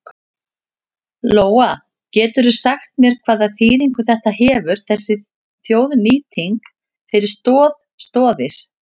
Lóa: Geturðu sagt mér hvaða þýðingu þetta hefur þessi þjóðnýting fyrir Stoð Stoðir?